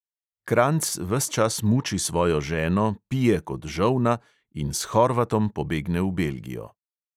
Kranjc ves čas muči svojo ženo, pije kot žolna in s horvatom pobegne v belgijo.